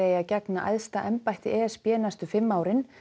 að gegna æðsta embætti e s b næstu fimm árin